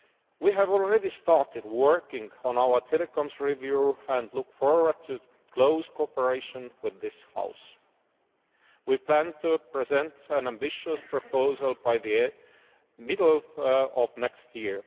We have already started working on our telecoms review and look forward to close cooperation with this House. We plan to present an ambitious proposal by the middle of next